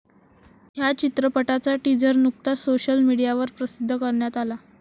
ह्या चित्रपटाचा टीझर नुकताच सोशल मीडियावर प्रसिद्ध करण्यात आला.